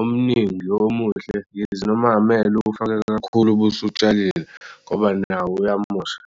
omningi lo omuhle yize noma amele ufake kakhulu ubusutshalile ngoba nawo uyamosha.